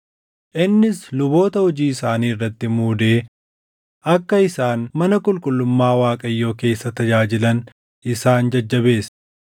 Innis luboota hojii isaanii irratti muudee akka isaan mana qulqullummaa Waaqayyoo keessa tajaajilan isaan jajjabeesse.